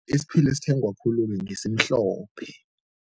Isiphila esithengwa khulu-ke ngesimhlophe.